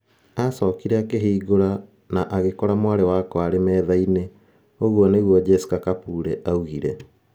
Aacokire akĩhingũra na agĩkora mwarĩ wakwa arĩ metha-inĩ,' ũguo nĩguo Jesca Kapule oigire.